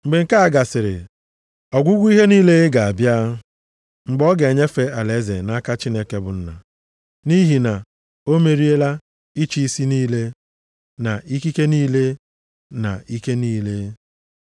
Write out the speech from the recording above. Mgbe nke a gasịrị, ọgwụgwụ ihe niile ga-abịa, mgbe ọ ga-enyefe alaeze nʼaka Chineke bụ Nna, nʼihi na o meriela ịchị isi niile, na ikike niile na ike niile.